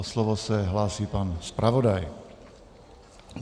O slovo se hlásí pan zpravodaj.